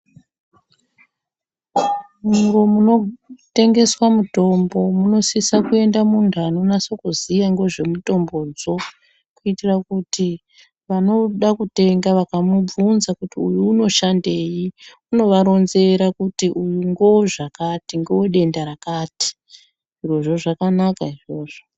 Muro munotengeswaa mutombo, munosisa kuenda muntu anonasokuzivaa ngozvomutombozvoo kuitira kuti vanouda kutenga vakamubvunza kuti uyu unoshandei unovaronzera kuti uyu ndowozvakati uyu ndowodenda rakatii, zvirozvo zvakanaka izvozvo.